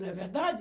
Não é verdade?